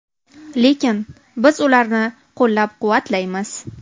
Lekin biz ularni qo‘llab-quvvatlaymiz”.